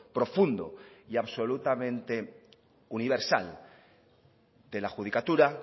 profundo y absolutamente universal de la judicatura